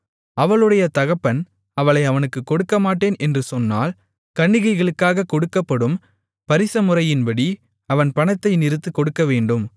அவளுடைய தகப்பன் அவளை அவனுக்குக் கொடுக்கமாட்டேன் என்று சொன்னால் கன்னிகைகளுக்காகக் கொடுக்கப்படும் பரிசமுறையின்படி அவன் பணத்தை நிறுத்துக் கொடுக்கவேண்டும்